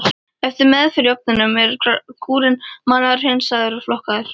Eftir meðferð í ofninum er gúrinn malaður, hreinsaður og flokkaður.